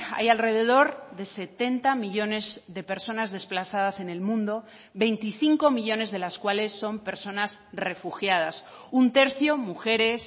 hay alrededor de setenta millónes de personas desplazadas en el mundo veinticinco millónes de las cuales son personas refugiadas un tercio mujeres